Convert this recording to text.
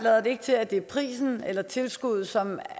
ikke til at det er prisen eller tilskuddet som